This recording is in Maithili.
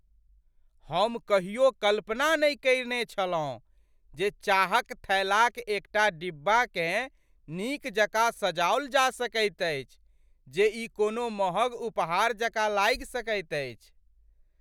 हम कहियो कल्पना नहि कयने छलहुँ जे चाहक थैलाक एकटा डिब्बाकेँ नीक जकाँ सजाओल जा सकैत अछि जे ई कोनो मँहग उपहार जकाँ लागि सकैत अछि।